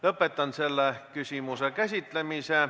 Lõpetan selle küsimuse käsitlemise.